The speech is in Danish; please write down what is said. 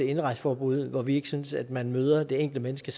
indrejseforbud hvor vi ikke synes at man møder det enkelte menneske